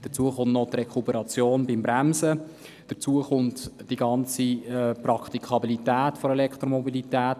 Hinzu kommen noch die Rekuperation beim Bremsen und die Praktikabilität der Elektromobilität.